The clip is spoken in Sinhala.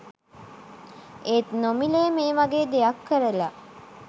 ඒත් නොමිලේ මේවගේ දෙයක් කරල